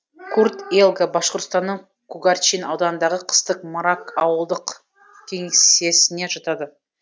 курт елга башқұртстанның кугарчин ауданындағы қыстық мрак ауылдық кеңсесіне жатады